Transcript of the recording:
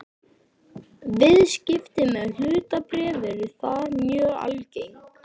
Viðskipti með hlutabréf eru þar mjög algeng.